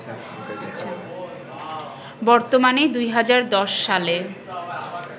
বর্তমানে, ২০১০ সালে